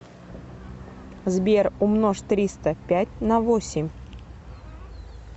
сбер умножь триста пять на восемь